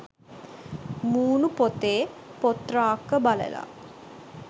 මූණු පොතේ 'පොත් රාක්ක' බලලා